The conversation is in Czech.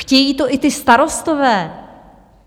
Chtějí to i ti starostové.